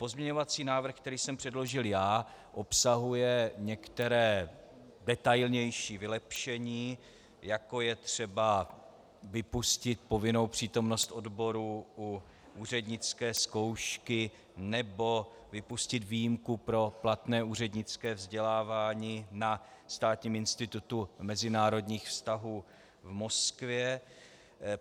Pozměňovací návrh, který jsem předložil já, obsahuje některá detailnější vylepšení, jako je třeba vypustit povinnou přítomnost odborů u úřednické zkoušky nebo vypustit výjimku pro platné úřednické vzdělávání na Státním institutu mezinárodních vztahů v Moskvě.